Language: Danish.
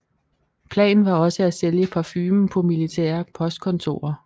Planen var også at sælge parfumen på militære postkontorer